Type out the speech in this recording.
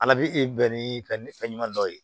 Ala bɛ bɛn ni fɛn ɲuman ye